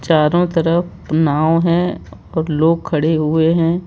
चारों तरफ नाव है और लोग खड़े हुए हैं।